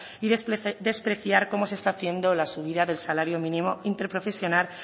y despreciar como se está haciendo la subida del salario mínimo interprofesional